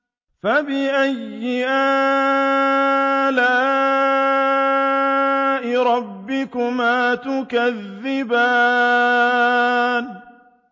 فَبِأَيِّ آلَاءِ رَبِّكُمَا تُكَذِّبَانِ